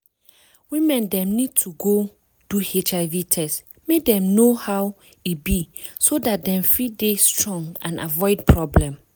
women dem need to go do hiv test make dem know how e be so dat dem fit dey strong and avoid problem